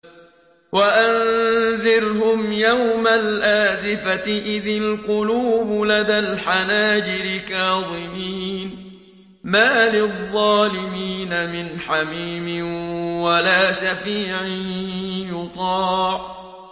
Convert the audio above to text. وَأَنذِرْهُمْ يَوْمَ الْآزِفَةِ إِذِ الْقُلُوبُ لَدَى الْحَنَاجِرِ كَاظِمِينَ ۚ مَا لِلظَّالِمِينَ مِنْ حَمِيمٍ وَلَا شَفِيعٍ يُطَاعُ